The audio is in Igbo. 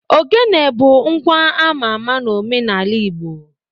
Ogene bụ ngwa ama ama n'omenala Igbo